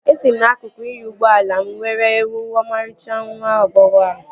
Esi m n'akụkụ inyo ụgbọala m were huu ọmarịcha nwa agbọghọ ahụ